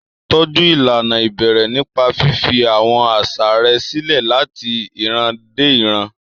Tọ́jú ìlànà ìbẹ̀rẹ̀ nípa fífi àwọn àṣà rẹ̀ sílẹ̀ láti ìran dé ìran.